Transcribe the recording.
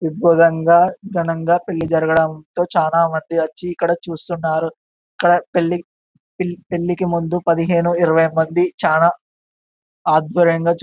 దిగ్వజంగా ఘనంగా పెళ్లి జరగడం తో చానా మంది వచ్చి ఇక్కడ చుస్తునారు ఇక్కడ పెళ్లి పెళ్ళికి ముందు పదిహేను ఇరవై మంది చానా ఆధ్వర్యంగా చు --